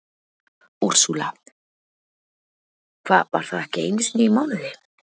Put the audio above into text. Úrsúla: Hvað var það ekki einu sinni í mánuði?